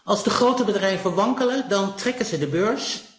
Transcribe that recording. Als grote bedrijven wankelen, dan trekken ze de beurs.